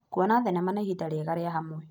Kuona thenema nĩ ihinda rĩega rĩa hamwe.